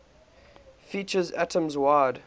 features atoms wide